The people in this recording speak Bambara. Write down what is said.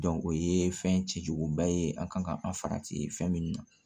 o ye fɛn cɛjuguba ye an kan ka an farati fɛn minnu na